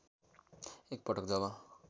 एक पटक जब